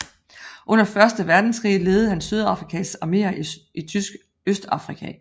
Under første verdenskrig ledede han Sydafrikas armeer i Tysk Østafrika